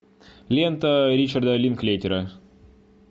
лента ричарда линклейтера